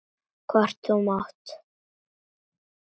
Hvort þú mátt!